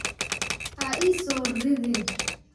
Ha i soo ridiin